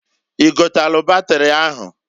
I gotalụ batịrị ahụ?